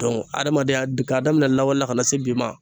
adamadenya d ka daminɛ lawale la kana se bi ma